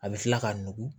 A bɛ kila ka nugu